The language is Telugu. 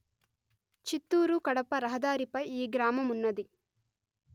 చిత్తూరు కడప రహదారిపై ఈ గ్రామమున్నది